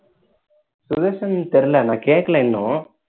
சுதர்சன் தெரியல நான் கேக்கல இன்னும்